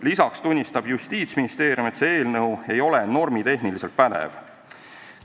Lisaks tunnistab Justiitsministeerium, et see eelnõu ei ole normitehniliselt pädev.